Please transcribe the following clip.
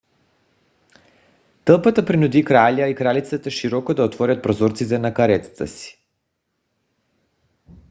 тълпата принуди краля и кралицата широко да отворят прозорците на каретата си